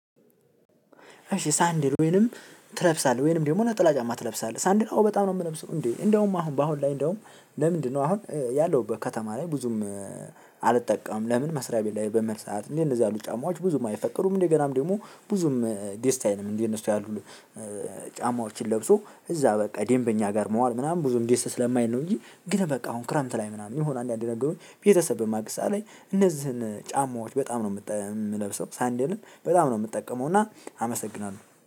ሳንዲል ወይንም ትለብሳለህ? ወይንም ደግሞ ነጥላ ጫማ ትለብሳለህ? ሳንዲል አዎ በጣም ነው የምለብሰው። እንዴ እንደውም አሁን በአሁን ላይ እንደውም ለምንድነው አሁን ያለሁበት ከተማ ላይ ብዙም? አልጠቀምም ለምን መስሪያ ቤት ላይ በመርሳት እንደዚ እንደዚ ያሉ ጫማዎች ብዙም አይፈቀዱም እንደገናም ደግሞ ብዙም ደስ አይልም። እንዴ እነሱ ያሉ ጫማዎችን ለብሶ እዛ በቃ ደምበኛ ጋር መዋል ምናምን ብም ደስ ስለማይል ነው። እንጂ ግን በቃ አሁን ክረምት ላይ ምናምን ይሁን አንዳንዴ ነገሩኝ ቤተሰብ በማግዝ ሰዓት ላይ እነዚህን ጫማዎች በጣም ነው የምጠ የምለብሰው። ሳንዴልን በጣም ነው የምጠቀመው። እና አመሰግናለሁ